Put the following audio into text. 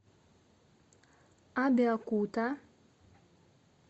абеокута